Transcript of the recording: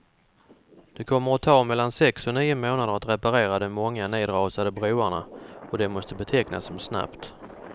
Det kommer att ta mellan sex och nio månader att reparera de många nedrasade broarna, och det måste betecknas som snabbt.